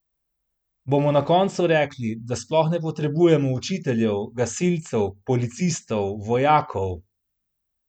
Bomo na koncu rekli, da sploh ne potrebujemo učiteljev, gasilcev, policistov, vojakov?